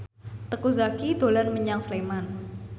Teuku Zacky dolan menyang Sleman